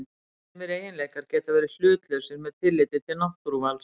Sumir eiginleikar geta verið hlutlausir með tilliti til náttúruvals.